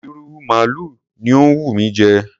ìrù maalu ni ó ń wù mí jẹ.